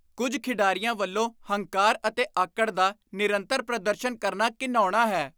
ਕੁੱਝ ਖਿਡਾਰੀਆਂ ਵੱਲੋਂ ਹੰਕਾਰ ਅਤੇ ਆਕੜ ਦਾ ਨਿਰੰਤਰ ਪ੍ਰਦਰਸ਼ਨ ਕਰਨਾ ਘਿਣਾਉਣਾ ਹੈ।